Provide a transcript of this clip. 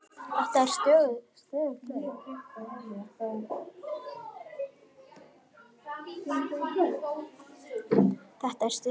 Þetta er stöðug leit!